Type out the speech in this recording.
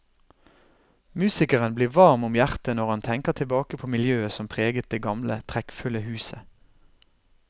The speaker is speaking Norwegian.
Musikeren blir varm om hjertet når han tenker tilbake på miljøet som preget det gamle, trekkfulle huset.